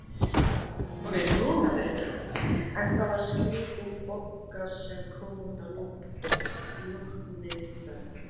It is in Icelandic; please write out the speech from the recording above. En það var skrítin Bogga sem kom út að lokinni ferð.